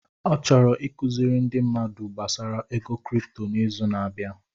Ọ chọrọ ịkụziri ndi mmadụ gbasara ego cripto n'izu na-abịa.